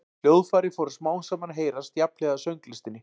hljóðfæri fóru smám saman að heyrast jafnhliða sönglistinni